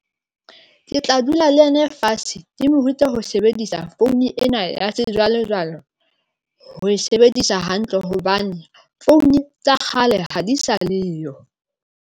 Ke tla dula le ena fatshe ke morute ho sebedisa founu ena ya sejwalejwale ho e sebedisa hantle hobane founu tsa kgale ha di sa leyo.